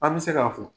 An bɛ se k'a fɔ